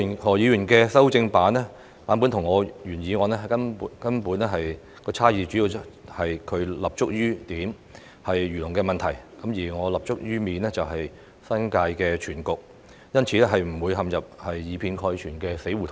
何議員的修正版本與我的原議案的根本差異，主要在於他立足於點，即漁農的問題，而我則立足於面，即新界全局，因此不會陷入以偏概全的死胡同中。